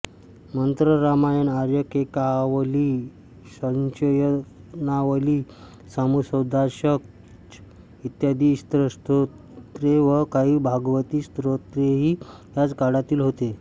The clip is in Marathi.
मंत्ररामायण आर्याकेकावली संशयरत्नावली नामसुधाचषक इत्यादी ईशस्तोत्रे व काही भागवती स्तोत्रेही याच काळातील होत